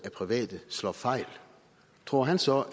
af private slår fejl tror han så